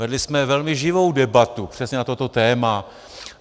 Vedli jsme velmi živou debatu přesně na toto téma.